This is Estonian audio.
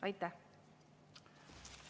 Aitäh!